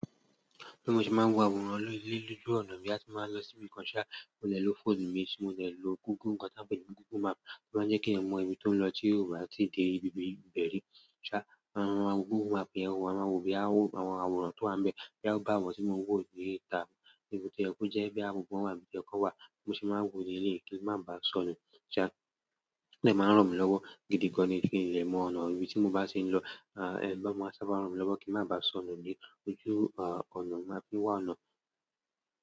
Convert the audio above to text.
Bí mo ṣe máa ń wo àwòrán lójú ọ̀nà mi tí máa ń lọ síbi kan, ṣá, mo lè lo fóònù mi tí mo lè lo Google nǹkan tí a ń pè ní Google Map, tí ó máa ń jẹ́ kí èmi mọ ibi tí mò ń lọ tí ò bá ti dé ibi ibẹ ri. Ṣá, àwọn àwòrán Google Map yẹ àwòrán, àwọn àwòrán tó wa n bẹ́ẹ̀ kí a tó bá wọ̀ síbi tí mo wò lórí ta, níbi tí ẹkú jẹ́ bí àwòrán wà bí ẹkọ wà, mo sì máa ń wò ní ilé kí n má ba sọnù. O dè máa ń ràn mi lọ́wọ́ gidi gan ní kí n lè mọ ọ̀nà ibi tí mo bá ti ń lọ, eleyii bá máa sábà rán mi lọ́wọ́ kí n má ba sọnù ní ojú, ọ̀nà maa fi wà ọ̀nà.